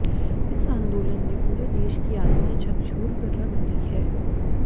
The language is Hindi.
इस आंदोलन ने पूरे देश की आत्मा झकझोर कर रख दी है